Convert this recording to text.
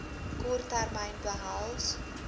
kort termyn behels